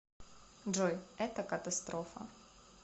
джой это катастрофа